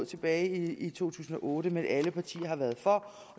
tilbage i to tusind og otte men alle partier har været for